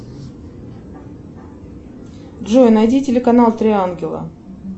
джой найди телеканал три ангела